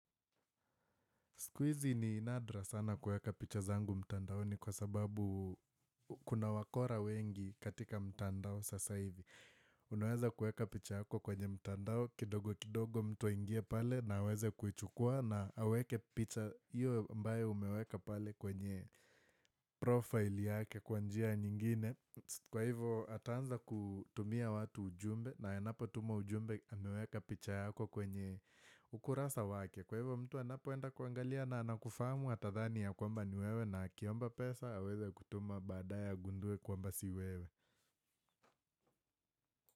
Siku hizi ni nadra sana kuweka picha zangu mtandaoni kwa sababu kuna wakora wengi katika mtandao sasa hivi. Unaweza kuweka picha yako kwenye mtandao, kidogo kidogo mtu aingie pale na aweze kuichukua na aweke picha hiyo ambayo umeweka pale kwenye profile yake kwa njia nyingine. Kwa hivyo ataanza kutumia watu ujumbe na anapo tuma ujumbe ameweka picha yako kwenye ukurasa wake. Kwa hivyo mtu anapoenda kuangalia na anakufahamu atadhani ya kwamba ni wewe na akiomba pesa aweze kutuma baadaye agundue kwamba si wewe.